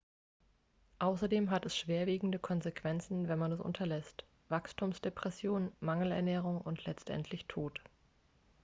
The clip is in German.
außerdem hat es schwerwiegende konsequenzen wenn man es unterlässt wachstumsdepression mangelernährung und letztendlich tod